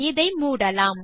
இதை மூடலாம்